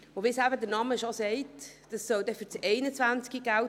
Wie es der Name schon sagt, soll diese für das Jahr 2021 gelten.